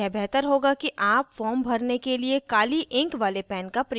यह बेहतर होगा कि आप form भरने के लिए काली ink वाले pen का प्रयोग करें